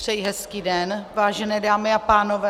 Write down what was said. Přeji hezký den, vážené dámy a pánové.